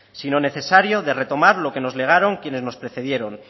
sino necesario de retomar lo que nos legaron quienes nos precedieron